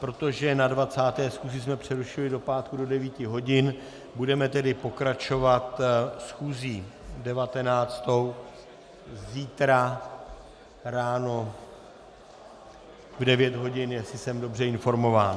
Protože na 20. schůzi jsme přerušili do pátku do 9 hodin, budeme tedy pokračovat schůzí 19. zítra ráno v 9 hodin, jestli jsem dobře informován.